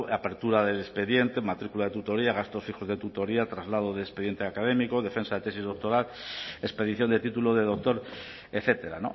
apertura del expediente matrícula de tutoría gastos fijos de tutoría traslado de expediente académico defensa de tesis doctoral expedición de título de doctor etcétera